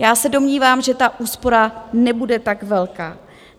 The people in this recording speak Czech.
Já se domnívám, že ta úspora nebude tak velká.